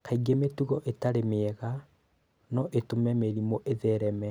Kaingĩ mĩtugo ĩtarĩ mĩega no ĩtũme mĩrimũ ĩthereme.